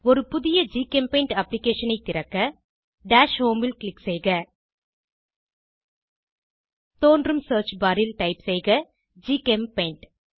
ஒரு புதிய ஜிகெம்பெய்ண்ட் அப்ளிகேஷனை திறக்க டாஷ் ஹோம் ல் க்ளிக் செய்க தோன்றும் சியர்ச் பார் ல் டைப் செய்க ஜிசெம்பெயிண்ட்